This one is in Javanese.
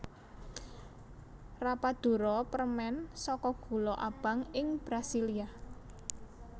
Rapadura permèn saka gula abang ing Brasilia